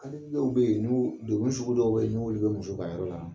Hali dɔw bɛ yen n'u degun sugu dɔw bɛ yen n'olu bɛ muso kan yɔrɔ la